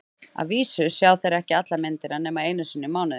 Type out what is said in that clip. Að vísu sjá þeir ekki alla myndina nema einu sinni í mánuði.